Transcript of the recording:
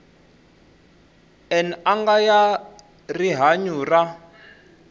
n anga ya rihanyu ra